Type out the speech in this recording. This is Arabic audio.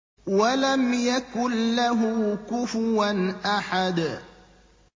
وَلَمْ يَكُن لَّهُ كُفُوًا أَحَدٌ